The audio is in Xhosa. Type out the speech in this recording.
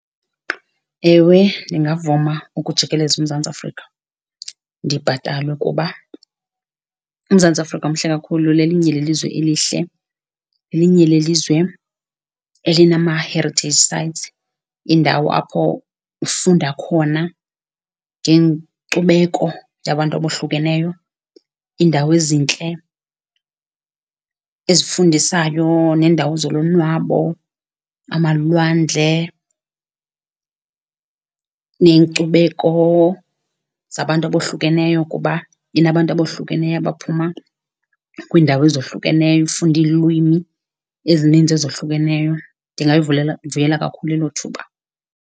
Ewe ndingavuma ukujikeleza uMzantsi Afrika ndibhatalwe kuba uMzantsi Afrika mhle kakhulu. Lelinye lelizwe elihle, lelinye lelizwe elinama-heritage sites, iindawo apho ufunda khona ngenkcubeko yabantu abohlukeneyo, iindawo ezintle ezifundisayo neendawo zolonwabo, amalwandle neenkcubeko zabantu abohlukeneyo kuba inabantu abohlukeneyo abaphuma kwiindawo ezohlukeneyo. Ufunda iilwimi ezininzi ezohlukeneyo, ndingalivuyela kakhulu elo thuba.